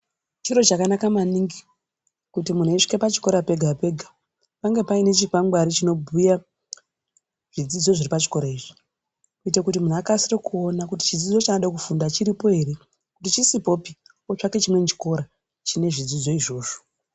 Chiro chakanaka maningi kuti muntu eisvike pachikora pega-pega, pange paine chikwangwari chinobhuya zvidzidzo zviri pachikora izvi, kuite kuti munhu alasire kuona kuti chidzidzo chaanoda kufunda chiripo ere, kuti chisipopi ,otsvake chimweni chikora, chine zvidzidzo izvozvo.